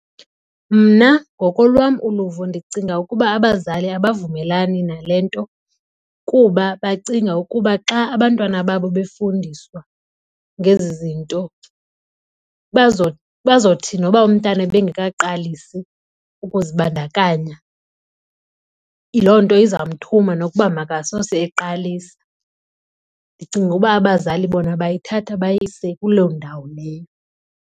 Mna ngokolwam uluvo ndicinga ukuba abazali abavumelani nale nto kuba bacinga ukuba xa abantwana babo befundiswa ngezi zinto bazothi noba umntana ebengekaqalisi ukuzibandakanya loo nto iza kumthuma nokuba makasose eqalisa. Ndicinga ukuba abazali bona bayithatha bayise kuloo ndawo leyo.